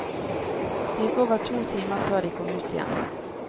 Det gikk over to timer før de kom ut igjen.